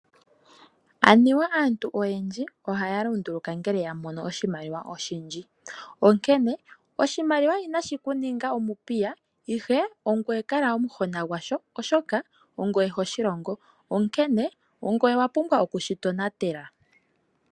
Anuwa aantu oyendji ohaya lunduluka uuna yamono iimaliwa oyindji, onkene oshimaliwa inashi kuninga omupika ashike ongweye kala omuhona gwasho oshoka ongweye hoshi longo, onkene owapumbwa okushi tonatela.